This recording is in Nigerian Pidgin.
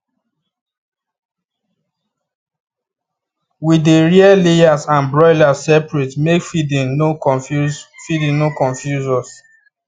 we dey rear layers and broilers separate make feeding no confuse feeding no confuse us